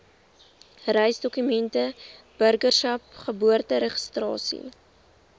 reisdokumente burgerskap geboorteregistrasie